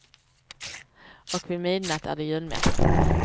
Och vid midnatt är det julmässa.